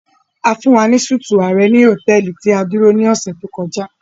A fun wa ni súti ààrẹ ni hotẹẹli ti a duro ni ọ̀ṣẹ̀ to kọja.